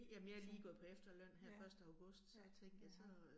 Så ja. Ja, jeg har